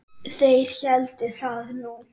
Þeir héldu það nú.